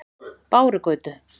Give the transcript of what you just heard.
Bárugötu